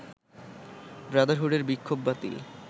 ব্রাদারহুডের বিক্ষোভ বাতিল